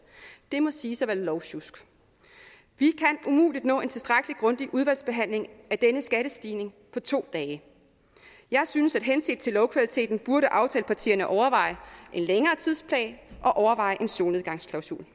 det må siges at være lovsjusk vi kan umuligt nå en tilstrækkelig grundig udvalgsbehandling af denne skattestigning på to dage jeg synes at henset til lovkvaliteten burde aftalepartierne overveje en længere tidsplan og overveje en solnedgangsklausul